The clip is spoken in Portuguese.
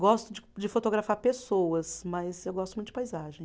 Gosto de de fotografar pessoas, mas eu gosto muito de paisagem.